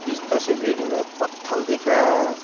इस तस्वीर में पत्थल दिख रहा है।